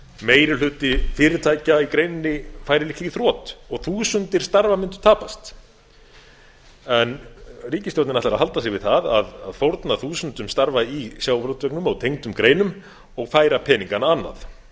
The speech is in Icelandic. meiri hluti fyrirtækja í greininni færi líklega í þrot og þúsundir starfa mundu tapast en ríkisstjórnin ætlar að halda sig við það að fórna þúsundum starfa í sjávarútveginum og tengdum greinum og færa peningana annað